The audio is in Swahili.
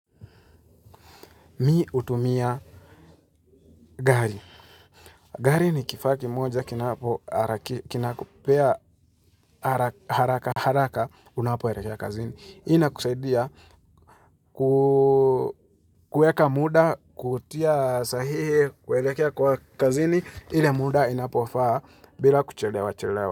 Mi hutumia gari gari ni kifaa kimoja kinapoharaki Kinakupea hara haraka haraka Unapoelekea kazini hii inakusaidia ku kueka mda kutia sahihi kuelekea kwa kazini ile mda inapofaa bila kuchelewa chelewa.